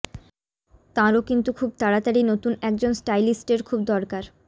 তাঁরও কিন্তু খুব তাড়াতাড়ি নতুন একজন স্টাইলিস্টের খুব দরকার